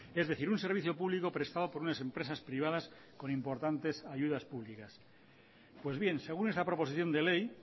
es decir un servicio público prestado por unas empresas privadas con importantes ayudas públicas pues bien según esa proposición de ley